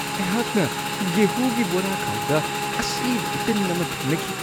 ꯑꯩꯍꯥꯛꯅ ꯒꯦꯍꯨꯒꯤ ꯕꯣꯔꯥꯈꯥꯎꯗ ꯑꯁꯤꯕ ꯎꯇꯤꯟ ꯑꯃ ꯊꯦꯡꯅꯈꯤ꯫